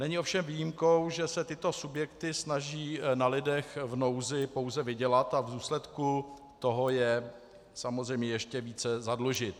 Není ovšem výjimkou, že se tyto subjekty snaží na lidech v nouzi pouze vydělat a v důsledku toho je samozřejmě ještě více zadlužit.